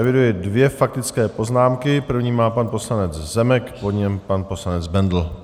Eviduji dvě faktické poznámky - první má pan poslanec Zemek, po něm pan poslanec Bendl.